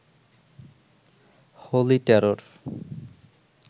holy terror